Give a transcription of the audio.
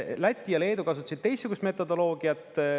Läti ja Leedu kasutasid teistsugust metodoloogiat.